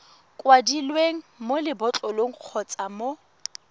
kwadilweng mo lebotlolong kgotsa mo